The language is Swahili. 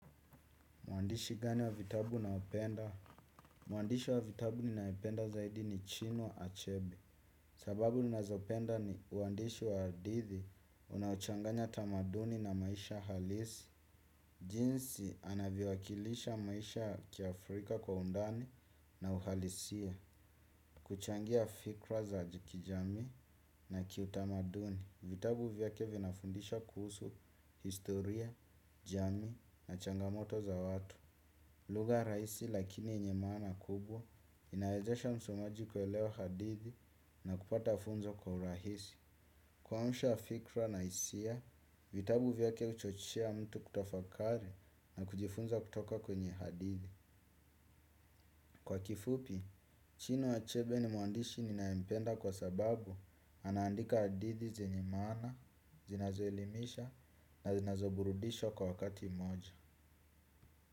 Mwandishi gani wa vitabu ninaopenda? Mwandishi wa vitabu ninayependa zaidi ni Chinua Achebe. Sababu ninazopenda ni uandishi wa hadithi unaochanganya tamaduni na maisha halisi. Jinsi anavyowakilisha maisha kiafrika kwa undani na uhalisia. Kuchangia fikra za kijamii na kiutamaduni. Vitabu vyake vinafundisha kuhusu, historia, jamii na changamoto za watu. Lugha rahisi lakini yenye maana kubwa, inawezesha msomaji kuelewa hadithi na kupata funzo kwa urahisi. Kuamsha fikra na hisia, vitabu vyake huchochea mtu kutafakari na kujifunza kutoka kwenye hadithi. Kwa kifupi, Chinua Achebe ni mwandishi ninayempenda kwa sababu anaandika hadithi zenye maana, zinazoelimisha na zinazoburudisha kwa wakati mmoja.